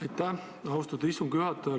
Aitäh, austatud istungi juhataja!